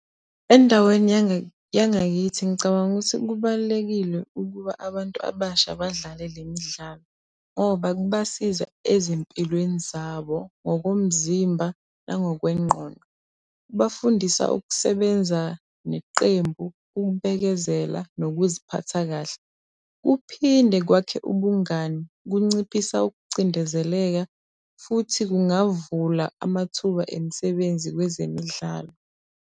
Endaweni yangakithi ngicabanga ukuthi kubalulekile ukuba abantu abasha badlale le midlalo ngoba kubasiza ezimpilweni zabo ngokomzimba nangokwengqondo. Kubafundisa ukusebenza neqembu, ukubekezela nokuziphatha kahle. Kuphinde kwakhe ubungani, kunciphisa ukucindezeleka futhi kungavula amathuba emisebenzi kwezemidlalo.